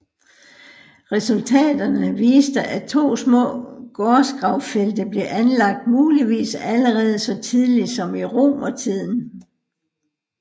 Resultaterne viste at to små gårdsgravfelte blev anlagt muligvis allerede så tidlig som i romertiden